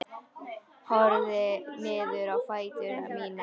Horfi niður á fætur mína.